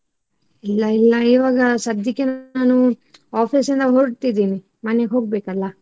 ಇಲ್ಲ ಇಲ್ಲ ಈವಾಗ ಸದ್ಯಕ್ಕೆ ನಾನು office ಇಂದ ಹೊರಟಿದ್ದೀನಿ ಮನೆಗ್ ಹೋಗ್ಬೇಕಲ್ಲ.